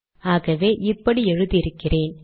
ஆகவே இப்படி எழுதி இருக்கிறேன்